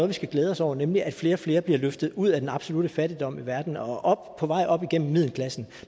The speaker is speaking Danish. vi skal glæde os over nemlig at flere og flere bliver løftet ud af den absolutte fattigdom i verden og på vej op igennem middelklassen